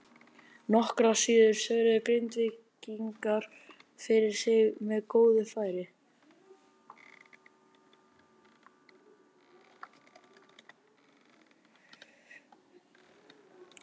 Nokkru síðar svöruðu Grindvíkingar fyrir sig með góðu færi.